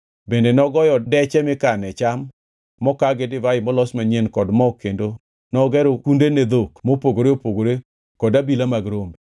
Bende nogoyo deche mikane cham mokaa gi divai molos manyien kod mo kendo nogero kunde ne dhok mopogore opogore kod abila mag rombe.